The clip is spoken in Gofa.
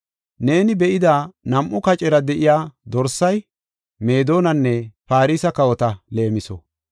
Neeni be7ida nam7u kacera de7iya dorsay, Meedonanne Farse kawota leemiso.